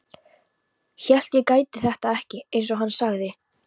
Hélt ég gæti þetta ekki, einsog hann sagði.